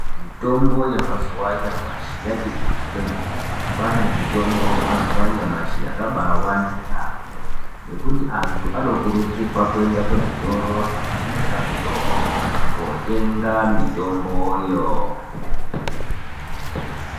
Mitombo yemazuva anyamashi yati kuti kwemene kwanemutombo yamazuwa anyamashi yakabawanda yambo nekuti antu anokurudzirwa kuenda kuzvitoro zvinotengesa mitombo kunotenga mitombo yoo.